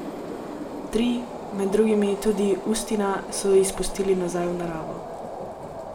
Tri, med drugim tudi Ustina, so izpustili nazaj v naravo.